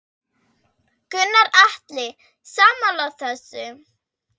Gunnar Atli: Sammála þessu?